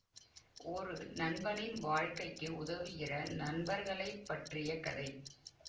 ஒரு நண்பனின் வாழ்க்கைக்கு உதவுகிற நண்பர்களை பற்றிய கதை